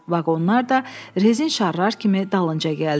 Vaqonlar da rezin şarlar kimi dalınca gəldi.